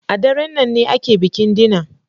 A daren nan ne ake bikin dinner.